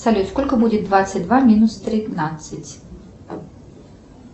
салют сколько будет двадцать два минус тринадцать